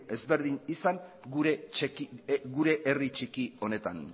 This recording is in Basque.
ezberdin izan gure herri txiki honetan